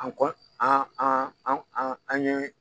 An kɔni an an an ɲe